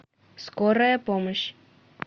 скорая помощь